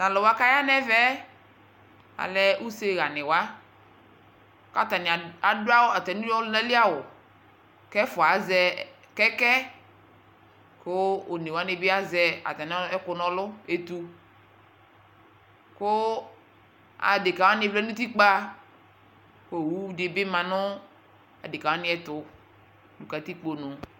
Taluwa kaya nɛvɛɛ alɛɛ useɣani wa katani adu atamiɔlunali awu kɛfua aʒɛ kɛɛkɛ ku onewanibi aʒɛ atamiɛku nɔlu ɛtuu kuu adekawani vlɛɛ nutikpaku owudibi ma nu adekawani ɛtu nu katikpo